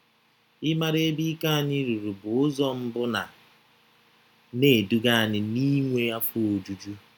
Ịmara ebe ike anyị ruru bụ ụzọ mbụ na - na - eduga anyị n’inwe afọ ojuju.